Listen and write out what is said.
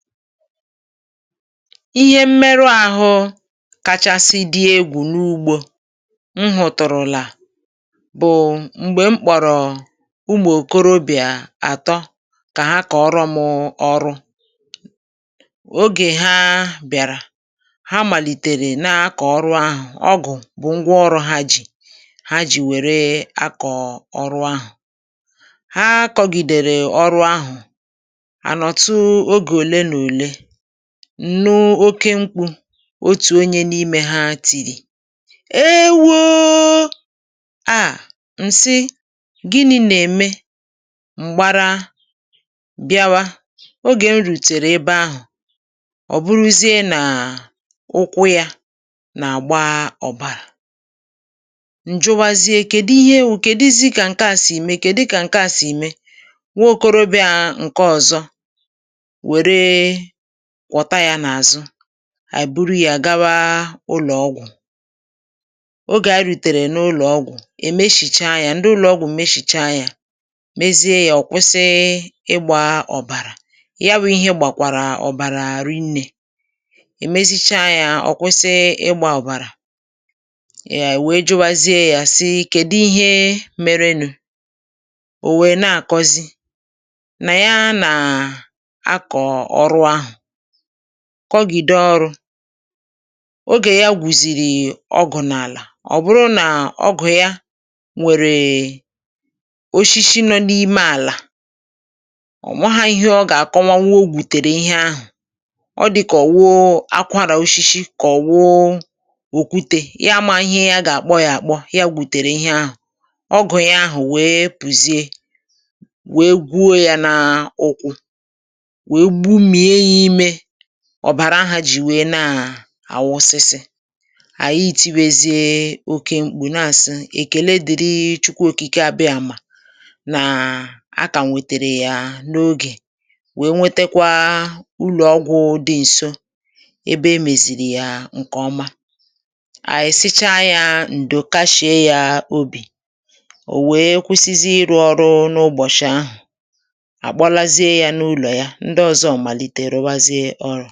Ihe mmerụ ahụ, kachasị dị egwù n’ugbȯ m hụ̀tụ̀rụ̀là bụ̀ m̀gbè m kporọ̀ umù okorobị̀à atọ kà ha kọ̀ọrọ m ọrụ. Ogè ha bị̀àrà, ha màlìtèrè na-akọ̀ ọrụ ahụ̀, ọgụ̀ bụ̀ ngwa ọrụ ha jì, ha jì wère akọ̀ ọrụ ahụ̀, ha kọgìdèrè ọrụ ahụ̀, anotu oge ole ma ole, nnu oké mkpu otu onye n'ime ha tìrì 'e woo! àa! ', ǹsi gịnị̇ nà-ème m̀gbara bịawa, ogè m rùtèrè ebe ahụ̀, ọ̀ bụrụzie nà ụkwụ yȧ nà-àgba ọ̀bàrà, ǹjụwazie kèdi ihe bụ̀ kèdizi kà ǹke à sì imė kèdi kà ǹke à sì imė? nwa okorobịȧ ǹke ọ̀zọ weere kwota ya n'azu anyi buru yȧ gawa ụlọ̀ ọgwụ, Ogè a rùtèrè n’ụlọ̀ ọgwụ, è meshìcha ya, ndị ụlọ̀ ọgwụ̀ meshìcha yȧ mezie yȧ ọ̀ kwụsị ịgbȧ ọ̀bàrà, ya wụ̇ ihe ịgbàkwàrà ọ̀bàrà rinnė, èmeshicha yȧ ọ̀ kwụsị ịgbȧ ọ̀bàrà, ee wèe jụwazie yȧ si kèdi ihe merenù, ò wèe na-àkọzi na ya na-akọ ọrụ ahụ kọgìdò ọrụ̇, ogè ya gwùzìrì ọgụ̀ n’àlà, ọ bụrụ nà ọgụ̀ ya nwèrè oshishi nọ n’ime àlà, ò maha ihe ọ gà-àkọwanwụ ọgwutèrè ihe ahụ̀, ọ dịkà ò wuȧ akwarà oshishi kà ọwu okwute, ya amaghị ihe ya gà-àkpọ yȧ àkpọ ya gwùtèrè ihe ahụ̀, ọgụ̀ ya ahụ̀ wee pùzie wee gwuo yȧ nàà ụkwụ, wee gbumia ya ime ọ̀bàrà ahụ̀ jì wèe na-àwụsịsị̇, ànyị iti̇bèezie oke mkpù na àsị 'èkèlee dị̀rị chukwu òkìke abịàmà' nàà a kà wètèrè yà n’ogè, wee nwetekwa ụlọ̀ ọgwụ̇ dị ǹso ebe emèzìrì yà ǹkè ọma, ànyị sịchaa yȧ ǹdò kashie yȧ òbì, ò wèe kwụsịzịe ịrụ̇ ọrụ n’ụbọ̀chị̀ ahụ̀, àkpọlazie yȧ n’ụlọ̀ ya, ǹdi ọzọ malite rubazie ọrụ.